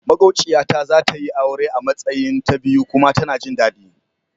Maƙwociya ta zatayi aure a Matsayin ta biyu kuma tana jin dadi.